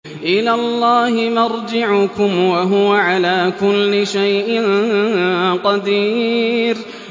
إِلَى اللَّهِ مَرْجِعُكُمْ ۖ وَهُوَ عَلَىٰ كُلِّ شَيْءٍ قَدِيرٌ